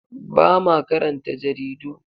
Ba ma karanta jaridu.